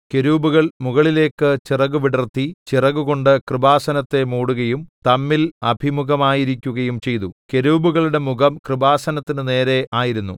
കെരൂബുകൾ മുകളിലേക്ക് ചിറക് വിടർത്തി ചിറകുകൊണ്ട് കൃപാസനത്തെ മൂടുകയും തമ്മിൽ അഭിമുഖമായിരിക്കുകയും ചെയ്തു കെരൂബുകളുടെ മുഖം കൃപാസനത്തിന് നേരെ ആയിരുന്നു